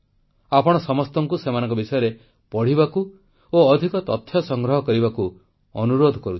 ଆପଣ ସମସ୍ତଙ୍କୁ ସେମାନଙ୍କ ବିଷୟରେ ପଢ଼ିବାକୁ ଓ ଅଧିକ ତଥ୍ୟ ସଂଗ୍ରହ କରିବାକୁ ଅନୁରୋଧ କରୁଛି